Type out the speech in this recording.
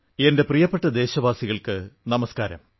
എന്റെ പ്രിയപ്പെട്ട ദേശവാസികൾക്കു നമസ്കാരം